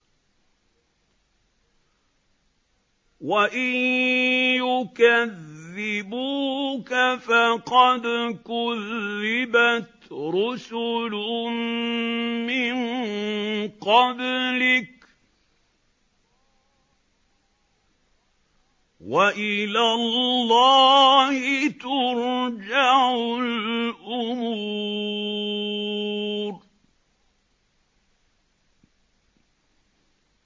وَإِن يُكَذِّبُوكَ فَقَدْ كُذِّبَتْ رُسُلٌ مِّن قَبْلِكَ ۚ وَإِلَى اللَّهِ تُرْجَعُ الْأُمُورُ